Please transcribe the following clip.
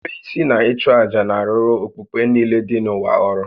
Nrube isi na ịchụ àjà na-arụrụ okpukpe niile dị n'ụwa ọrụ